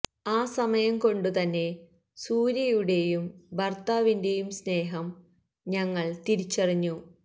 ആ സമയം കൊണ്ടു തന്നെ സൂര്യയുടെയും ഭര്ത്താവിന്റെയും സ്നേഹം ഞങ്ങള് തിരിച്ചറിഞ്ഞു